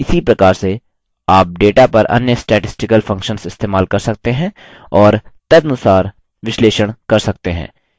इसी प्रकार से आप data पर अन्य statistical functions इस्तेमाल कर सकते हैं और तदनुसार विश्लेषण कर सकते हैं